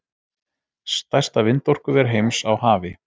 Stærsta vindorkuver heims á hafi